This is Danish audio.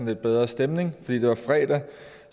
lidt bedre stemning fordi det er fredag